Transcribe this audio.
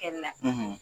Kɛli la